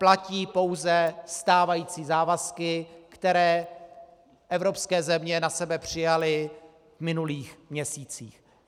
Platí pouze stávající závazky, které evropské země na sebe přijaly v minulých měsících.